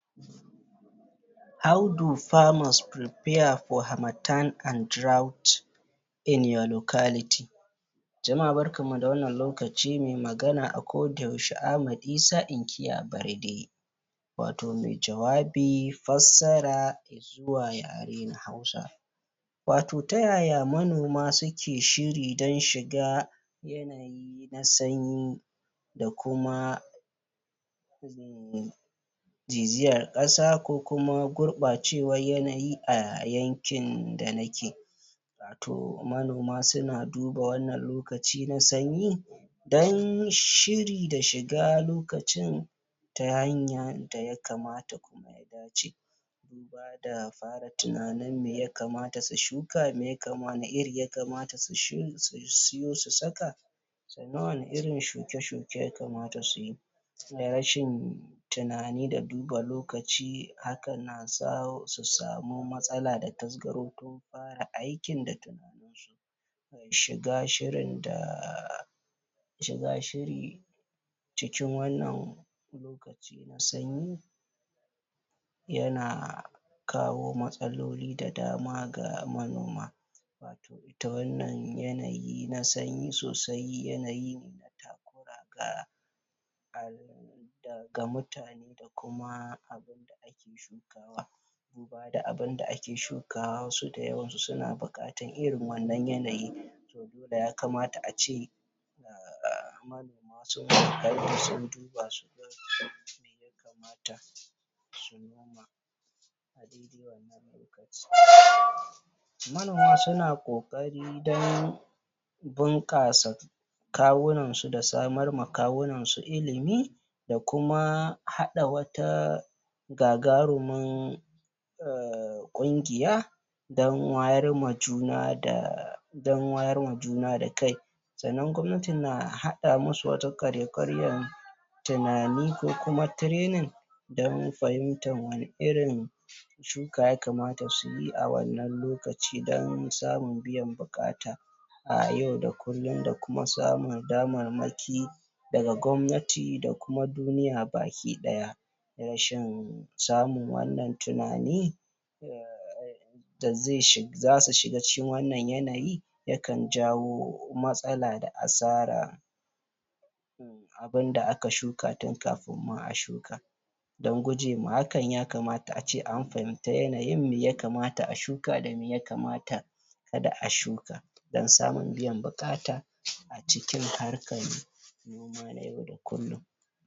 How do farmers prepare for harmattan and drought in your locality? Jama'a barkanmu da wannan lokaci. Mai magana a koda yaushe Ahmad Isa inkiya Barde watau mai jawabi, fassara zuwa yare na hausa watau ta yaya manoma suke shiri don shiga yanaui na sanyi da kuma ziziyar ƙasa ko kuma gurɓacewa n yanayi a yankin da nake watau manoma suna duba wannan lokaci na sanyi don shiri da shiga lokacin ta hanyan da ya kamata kuma ya dace duba da fara tunanin me ya kamata su shuka, wani iri ya kamata su siyo su saka sannan wani irin shuke-shuke ya kamata su yi rashin tunani da duba lokaci haka na sawo su samu matsala da tasgaro tun fara aikin da shiga shirin da shiga shiri cikin wannan lokaci na sanyi yana kawo matsaloli da dama ga manoma ita wannan yanayi na sanyi sosai yanayi na takura ga ga mutane da kuma abunda aka shuka duba da abunda ake shukawa wasu da yawansu suna buƙatan irin wannan yanayi to dole ya kamata ace um manoma sunyi ƙoƙari sun duba su gani me ya kamata su noma a daidai wannan lokaci manoma suna ƙoƙari don bunƙasa kawunan su da samar ma kawunan su ilimi da kuma haɗa wata gagarumin ƙungiya don wayar ma juna da don wayar ma juna da kai sannan gwamnati na haɗa musu wata ƙwarya-ƙwaryan tunani ko kuma training don fahimtar wani irin shuka ya kamata su yi a wannan lokaci don samun biyan buƙata a yau da kullum da kuma samun damarmaki daga gwamnati da kuma duniya baki ɗaya rashin samun wannan tunani da zasu shiga wannan yanayi yakan jawo matsala da asara abunda aka shuka tun kafin ma a shuka don guje ma hakan ya kamata ace an fahimta yanayin meya kamata a shuka da me ya kamata kada a shuka don samun biyan buƙata a cikin harkan noma na yau da kullum.